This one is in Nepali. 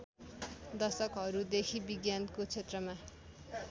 दशकहरूदेखि विज्ञानको क्षेत्रमा